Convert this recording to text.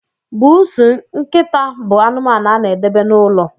Bụụsụ, nkịta bụ anụmanụ a na edebe n'ụlọ